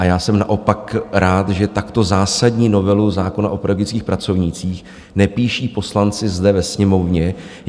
A já jsem naopak rád, že takto zásadní novelu zákona o pedagogických pracovnících nepíší poslanci zde ve Sněmovně.